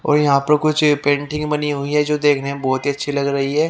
और यहां पर कुछ पेंटिंग बनी हुई है जो देखने में बहुत ही अच्छी लग रही है।